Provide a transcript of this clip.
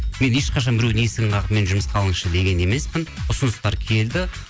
мен ешқашан біреудің есігін қағып мені жұмысқа алыңызшы деген емеспін ұсыныстар келді